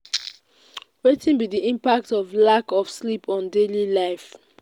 wetin be di impact of lack of sleep on daily life?